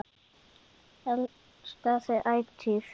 Elska þig ætíð.